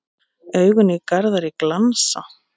Augun í Garðari glansa.